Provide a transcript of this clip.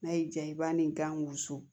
N'a y'i diya i b'a ni gan wusu